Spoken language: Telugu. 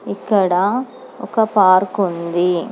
ఇక్కడ ఒక పార్కుంది .